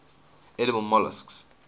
edible molluscs